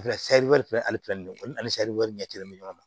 ani ɲɛ kelen bɛ ɲɔgɔn na